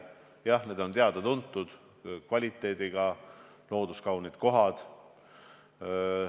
Jah, need on teada-tuntud kvaliteediga looduskaunid kohad.